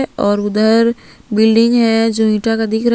और उधर बिल्डिंग है जो ईटा का दिख रहा--